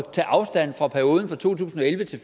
at tage afstand fra perioden fra to tusind og elleve til